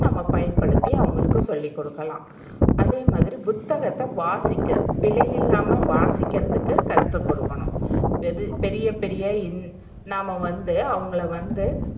நாம பயன்படுத்தி அவங்களுக்கு சொல்லிக்குடுக்கலாம் அதேமாதிரி புத்தகத்த வாசிக்க பிழைஇல்லாம வாசிக்கிறதுக்கு கத்துக்குடுக்கனும். இது பெரிய பெரிய ன் நாம வந்து அவங்கள வந்து